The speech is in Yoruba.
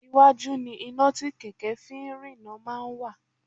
Iwájú ni iná tí kẹ̀kẹ́ fi ń rína máa ń wà